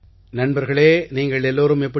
நண்பர்களே நீங்கள் எல்லோரும் எப்படி